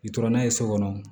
I tora n'a ye so kɔnɔ